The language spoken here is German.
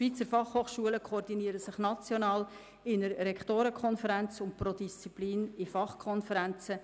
Die Schweizer FH koordinieren sich national in einer Rektorenkonferenz sowie pro Disziplin in Fachkonferenzen.